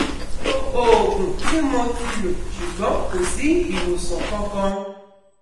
sopo oogun ti mo ti lo sugbon kosi iwosan kankan